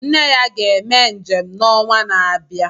Nne ya ga-eme njem n'onwa na-abịa.